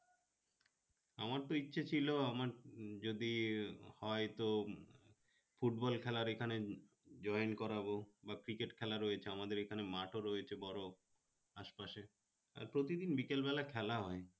আমার তো ইচ্ছে ছিলো যদি হয় তো football খেলার এখানে join করাবো বা cricket খেলা রয়েছে আমাদের এখানে মাঠ ও রয়েছে বড় আশপাশে আর প্রতিদিন বিকেলবেলা খেলা হবে